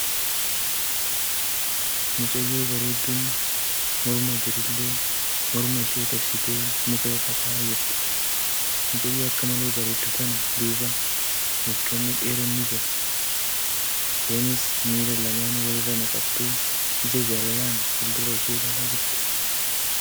Mucayyoo bareedduun mirma birillee morma ishee dabsitee muka irra taa'aa jirti. Mucayyoo akka malee bareeddu tana duuba mukkeen dhedheeroon ni jira. Isheenis miila lamaan wal irra naqattee ija jaalalaan fuuldura ishee ilaalaa jirti.